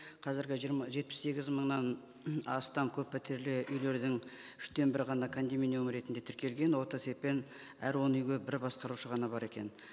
қазіргі жетпіс сегіз мыңнан астам көппәтерлі үйлердің үштен бірі ғана кондоминиум ретінде тіркелген орта есеппен әр он үйге бір басқарушы ғана бар екен